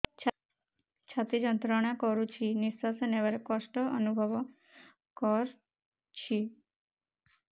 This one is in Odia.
ଛାତି ଯନ୍ତ୍ରଣା କରୁଛି ନିଶ୍ୱାସ ନେବାରେ କଷ୍ଟ ଅନୁଭବ କରୁଛି